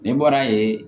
Ne bɔra yen